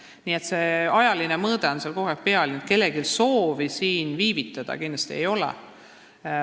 Nii et see ajaline surve on seal kogu aeg olemas, kellelgi soovi viivitada kindlasti ei ole.